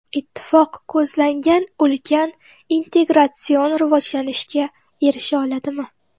Ittifoq ko‘zlangan ulkan integratsion rivojlanishga erisha oladimi?